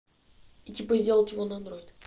и типа сделать его на андроид